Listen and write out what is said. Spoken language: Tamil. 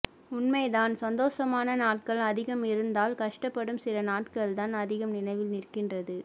உண்மைதான் சந்தோசமான நாட்கள் அதிகம் இருந்தாலும் கஷ்டப்படும் சில நாட்கள்தான் அதிகம் நினைவில் நிற்கின்றது